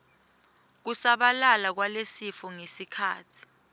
kusabalala kwalesifo ngekhatsi